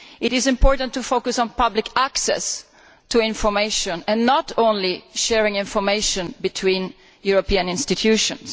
It is important to focus on public access to information and not just on sharing information between European institutions.